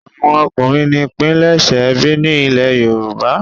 àwọn ọkunrin ní pilẹṣẹ ẹbí ní ilè yorùbá.